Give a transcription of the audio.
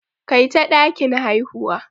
Kai ta dakin haihuwa.